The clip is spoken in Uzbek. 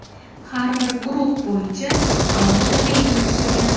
Har bir guruh bo‘yicha alohida reyting tuzilgan.